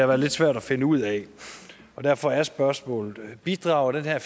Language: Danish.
været lidt svært at finde ud af og derfor er spørgsmålet bidrager den her